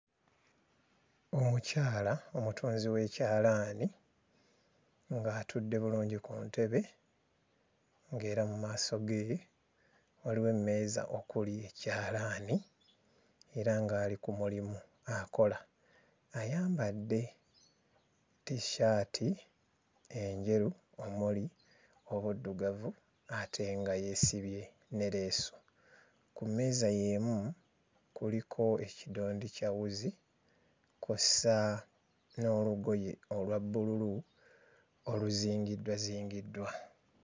Omukyala omutunzi w'ekyalaani ng'atudde bulungi ku ntebe ng'era mu maaso ge waliwo emmeeza okuli ekyalaani era ng'ali ku mulimu akola. Ayambadde tissaati enjeru omuli obuddugavu ate nga yeesibye ne leesu. Ku mmeeza y'emu kuliko ekidondi kya wuzi kw'ossa n'olugoye olwa bbululu oluzingiddwazingiddwa.